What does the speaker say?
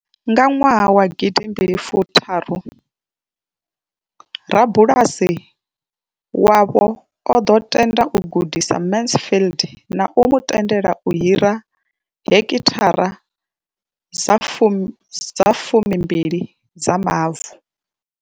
Nga nwaha wa gidi mbili fu tharu, rabulasi wavho o ḓo tenda u gudisa Mansfield na u mu tendela u hira heki thara dza fumi dza fumi mbili dza mavu.